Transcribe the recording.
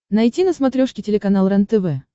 найти на смотрешке телеканал рентв